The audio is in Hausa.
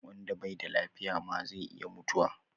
Wanda bai da lafiya ma zai iya mutuwa